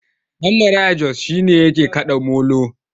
Ɗan maraya Jos shi ne yake kaɗa molo.